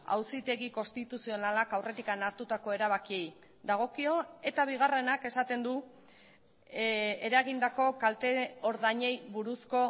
auzitegi konstituzionalak aurretik hartutako erabakiei dagokio eta bigarrenak esaten du eragindako kalte ordainei buruzko